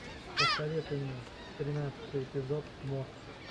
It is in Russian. посоветуй мне тринадцатый эпизод мост